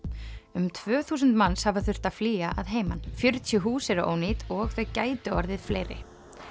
um tvö þúsund manns hafa þurft að flýja að heiman fjörutíu hús eru ónýt og þau gætu orðið fleiri